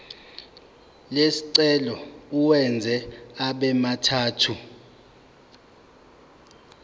lesicelo uwenze abemathathu